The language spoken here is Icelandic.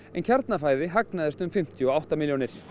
en Kjarnafæði hagnaðist um fimmtíu og átta milljónir